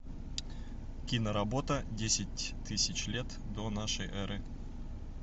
киноработа десять тысяч лет до нашей эры